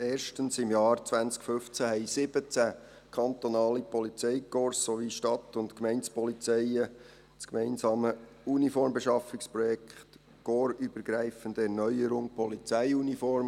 Erstens: Im Jahr 2015 haben 17 kantonale Polizeikorps sowie Stadt- und Gemeindepolizeien das gemeinsame Uniformbeschaffungsprojekt «Korpsübergreifende Erneuerung Polizeiuniform